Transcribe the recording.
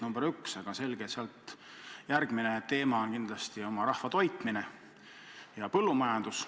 Samas on selge, et järgmine teema on kindlasti oma rahva toitmine, põllumajandus.